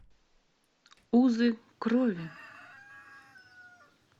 узы крови